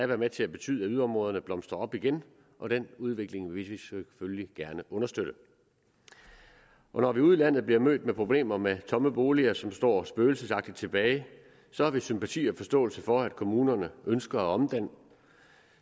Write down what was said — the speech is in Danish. være med til at betyde at yderområderne blomstrer op igen og den udvikling vil vi selvfølgelig gerne understøtte når vi ude i landet bliver mødt af problemer med tomme boliger som står spøgelsesagtigt tilbage så har vi sympati og forståelse for at kommunerne ønsker at omdanne